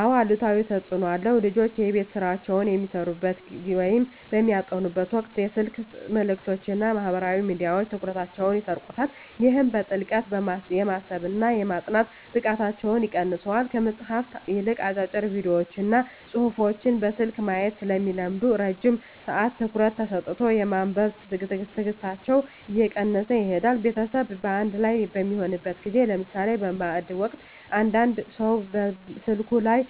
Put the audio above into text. አዎ አሉታዊ ተፅኖ አለው። ልጆች የቤት ሥራቸውን በሚሠሩበት ወይም በሚያጠኑበት ወቅት የስልክ መልእክቶችና ማኅበራዊ ሚዲያዎች ትኩረታቸውን ይሰርቁታል። ይህም በጥልቀት የማሰብና የማጥናት ብቃታቸውን ይቀንሰዋል። ከመጽሐፍት ይልቅ አጫጭር ቪዲዮዎችንና ጽሑፎችን በስልክ ማየት ስለሚለምዱ፣ ረጅም ሰዓት ትኩረት ሰጥቶ የማንበብ ትዕግሥታቸው እየቀነሰ ይሄዳል። ቤተሰብ በአንድ ላይ በሚሆንበት ጊዜ (ለምሳሌ በማዕድ ወቅት) እያንዳንዱ ሰው ስልኩ ላይ